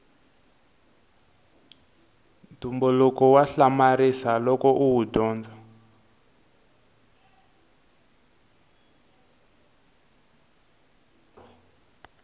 ntumbuluko wa hamarisa loko uwu dyondza